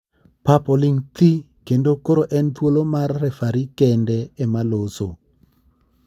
Pap oling thii kendo koro en thuolo mar referi kende ema loso.